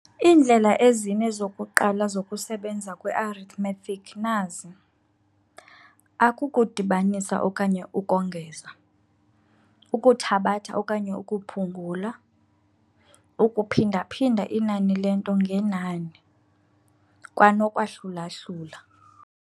Iindlela ezine zokuqala zokusebenza kwe-arithmetic nazi- akukudibanisa okanye ukongeza, ukuthabatha okanye ukuphungula, ukuphinda-phinda inani lento ngenani, kwanokwa-hlula-hlula.